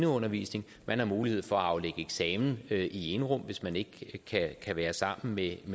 undervisning man har mulighed for at aflægge eksamen i enrum hvis man ikke kan være sammen med